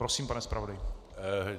Prosím, pane zpravodaji.